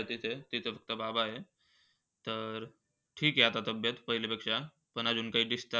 आहे तिथे. तिथे फक्त आता बाबा हाय. तर, ठीक आहे आता तब्येत पहिलीपेक्षक. पण अजून काही discharge